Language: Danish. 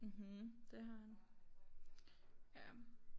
Mhm det har han ja